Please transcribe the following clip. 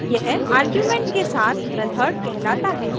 यह आर्गुमेंट के साथ मेथड कहलाता है